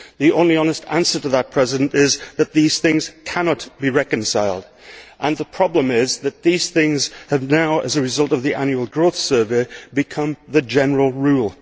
The only honest answer to that is that these things cannot be reconciled, and the problem is that these things have now, as a result of the Annual Growth Survey, become the general rule.